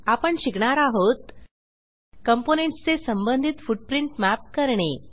आपण शिकणार आहोत कॉम्पोनेंट्स चे संबंधित फुटप्रिंट मॅप करणे